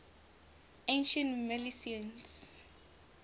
ancient milesians